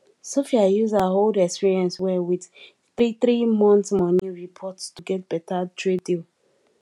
sophia use her old experience well with threethree month money report to get better trade deal